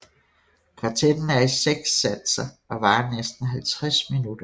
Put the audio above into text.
Kvartetten er i seks satser og varer næsten 50 min